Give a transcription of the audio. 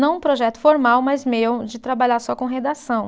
não um projeto formal, mas meu de trabalhar só com redação.